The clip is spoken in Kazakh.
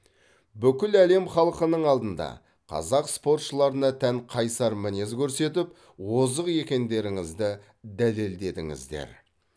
бүкіл әлем халқының алдында қазақ спортшыларына тән қайсар мінез көрсетіп озық екендеріңізді дәлелдедіңіздер